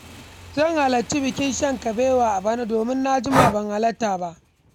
Zan halarci bikin shan kabewa a bana, domin na jima ban halarta ba.